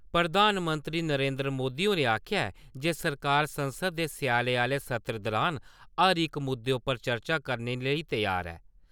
प्रधानमंत्री नरेंद्र मोदी होरें आखेआ ऐ जे सरकार संसद दे स्याले आह्ले सत्र दुरान हर इक मुद्दे उप्पर चर्चा करने लेई त्यार ऐ।